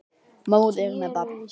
Móðir með barn.